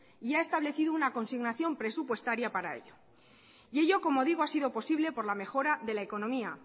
y ha establecido una consignación presupuestaria para eso y ello como digo ha sido posible por la mejora de la economía